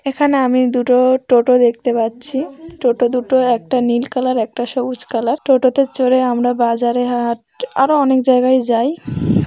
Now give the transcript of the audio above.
এখানে আমি দুটো টোটো দেখতে পাচ্ছি টোটো দুটো একটা নীল কালার একটা সবুজ কালার টোটোতে জোরে আমরা বাজারে আরও অনেক জায়গায় যাই ।